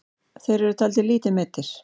Þeir eru taldir lítið meiddir.